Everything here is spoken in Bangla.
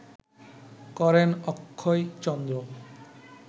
করেন অক্ষয়চন্দ্র